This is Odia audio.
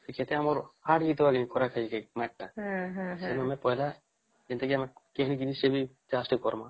କି ସେଠୀ ଆମର ସେ ଯୋଉ ଆମେ ପହିଲା ଏନତି କି ଆମେ କିଣିକିରୀ ସେବି ଚାଷ୍ ଟିକେ କରମା